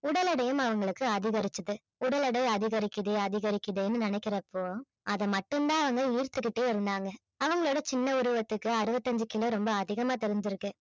உடல் எடையும் அவங்களுக்கு அதிகரிச்சது உடல் எடை அதிகரிக்குது அதிகரிக்குதுன்னு நினைக்கிறப்போ அதை மட்டும் தான் அவங்க ஈர்த்துகிட்டே இருந்தாங்க அவங்களுடைய சின்ன உருவத்துக்கு அறுவத்தஞ்சி kilo ரொம்ப அதிகமா தெரிஞ்சிருக்கு